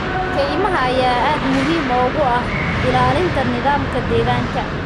Kaymaha ayaa aad muhiim ugu ah ilaalinta nidaamka deegaanka.